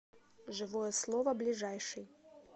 живое слово ближайший